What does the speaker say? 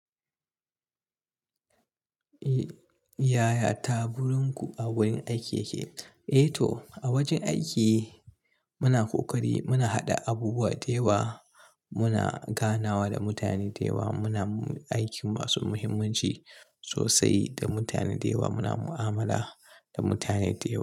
Yaya taburinku a wurin aiki yake? Eh to, a wajen aiki muna ƙoƙari, muna haɗa abubuwa da yawa, muna ganawa da mutane da yawa, muna aikin masu muhimmanci sosai da mutane da yawa, muna mu'amala da mutane da yawa.